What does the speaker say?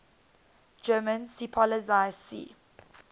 german seepolizei sea